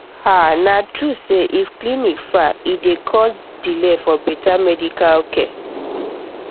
ah na true say if clinic far e dey cause delay for better medical care